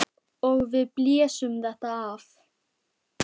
Og við blésum þetta af.